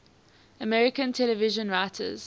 american television writers